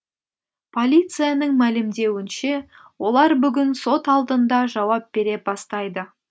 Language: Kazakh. полицияның мәлімдеуінше олар бүгін сот алдында жауап бере бастайды